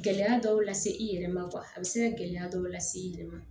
Gɛlɛya dɔw la se i yɛrɛ ma a bɛ se ka gɛlɛya dɔw lase i yɛrɛ ma